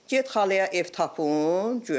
Get xalaya ev tapın, guya.